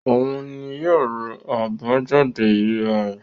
Òun ni yóò ru àbájáde ìríra rẹ̀.